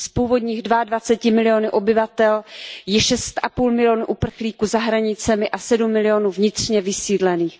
Z původních dvaadvaceti milionů obyvatel je šest a půl milionu uprchlíků za hranicemi a sedm milionů vnitřně vysídlených.